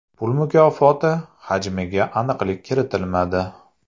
Pul mukofoti hajmiga aniqlik kiritilmadi.